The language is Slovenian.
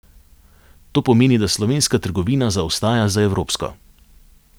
To pomeni, da slovenska trgovina zaostaja za evropsko.